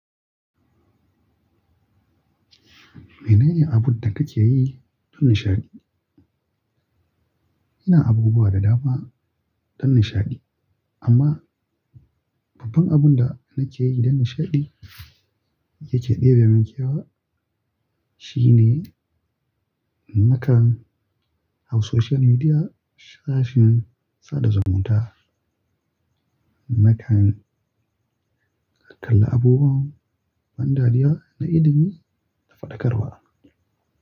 Mene ne abun da kake yi don nishaɗi? Ina abubuwa da dama don nishaɗi, amma babban abun da nake yi don nishaɗi yake ɗebe min kyau shine nakan hau social media sashin sada zumunta. Nakan kalla abubuwan ban dariya na ilimi da faɗakarwa.